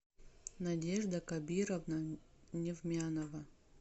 надежда кабировна невмянова